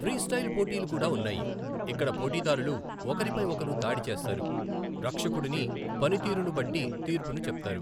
Freestyle పోటీలు కూడా ఉన్నాయి, ఇక్కడ పోటీదారులు ఒకరిపై ఒకరు దాడి చేస్తారు, రక్షకుడుని పనితీరును బట్టి తీర్పుని చెప్తారు .